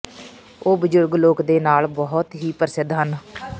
ਉਹ ਬਜ਼ੁਰਗ ਲੋਕ ਦੇ ਨਾਲ ਬਹੁਤ ਹੀ ਪ੍ਰਸਿੱਧ ਹਨ